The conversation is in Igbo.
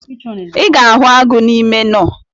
I ga-ahụ agụ n’ime nọ